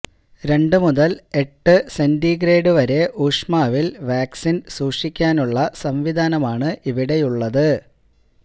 രണ്ടുമുതല് എട്ട് സെന്റിഗ്രേഡ് വരെ ഊഷ്മാവില് വാക്സിന് സൂക്ഷിക്കാനുള്ള സംവിധാനമാണ് ഇവിടെയുള്ളത്